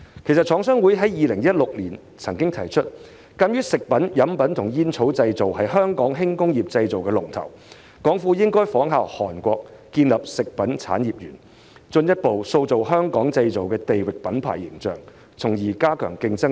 其實，廠商會曾在2016年指出，鑒於"食品、飲品及煙草製造"是香港輕工業和製造業的龍頭，政府應仿效韓國建立食品產業園，進一步塑造"香港製造"的地域品牌形象，從而加強競爭力。